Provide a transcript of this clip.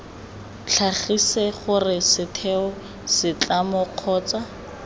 tlhagise gore setheo setlamo kgotsa